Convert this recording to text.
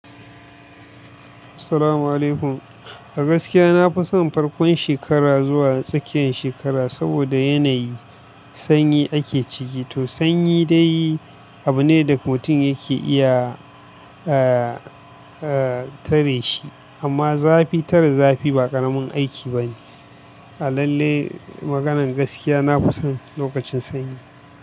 Assalamu'alaikum. A gaskiya na fi son farkon shekara zuwa tsakiyan shekara saboda yanayi sanyi ake ciki. To sanyi dai abu ne da mutum yake iya, eh, eh tare shi amma zafi tare zafi ba ƙaramin aiki ba ne. A lalle maganan gaskiya na fi son lokacin sanyi.